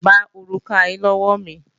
Gba òrùka yí lọ́wọ́ mi!